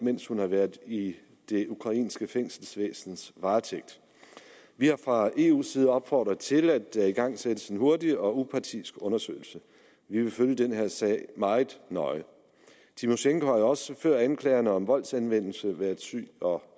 mens hun har været i det ukrainske fængselsvæsens varetægt vi har fra eus side opfordret til at der igangsættes en hurtig og upartisk undersøgelse vi vil følge den her sag meget nøje tymosjenko har også før anklagerne om voldsanvendelse været syg og